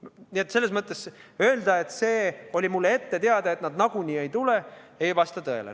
Nii et selles mõttes öelda, et mulle oli ette teada, et nad nagunii ei tule – see ei vasta tõele.